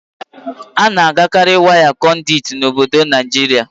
Ana agakarị waya Konduit na obodo Naịjiria